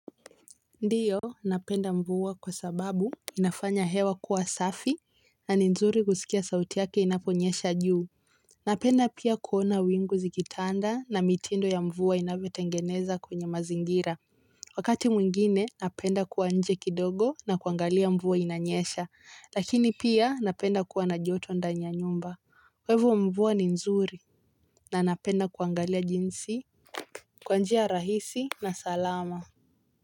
Ndio napenda mvua kwasababu inafanya hewa kuwa safi na ni nzuri kuskia sauti yake inaponyesha juu. Napenda pia kuona wingu zikitanda na mitindo ya mvua inavyotengeneza kwenye mazingira. Wakati mwingine napenda kua nje kidogo na kuangalia mvua inanyesha. Lakini pia napenda kua na joto ndani ya nyumba kwa hivo mvua ni nzuri na napenda kuangalia jinsi kwa njia rahisi na salama.